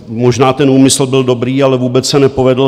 Možná ten úmysl byl dobrý, ale vůbec se nepovedl.